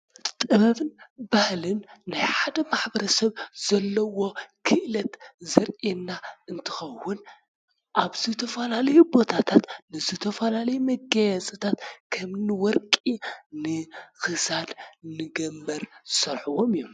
ጥበብን ባህልን ናይ ሓደ ሕብረተሰብ ዘለዎ ክእለት ዘርእየና እንትኸውን ኣብ ዝተፈላለዩ ቦታታት ዝተፈላለዩ መጋየፅታት ከምኒ ወርቁ ንክሳድ ንገንበር ዝሰርሕዎም እዮመ።